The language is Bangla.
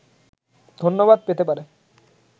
ধন্যবাদ পেতে পারে